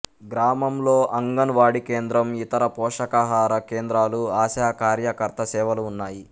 గ్రామంలో అంగన్ వాడీ కేంద్రం ఇతర పోషకాహార కేంద్రాలు ఆశా కార్యకర్త సేవలు ఉన్నాయి